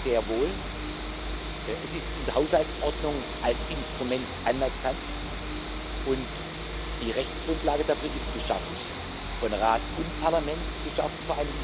sehr wohl. Es ist in der Haushaltsordnung als Instrument anerkannt, und die Rechtsgrundlage dafür wurde vor einigen Jahren von Rat und Parlament geschaffen.